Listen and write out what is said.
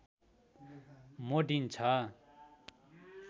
मोडिन्छ